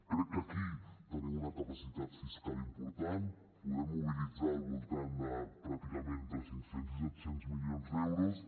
crec que aquí tenim una capacitat fiscal important podem mobilitzar al voltant de pràcticament entre cinc cents i set cents milions d’euros